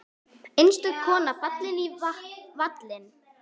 Einstök kona fallin í valinn.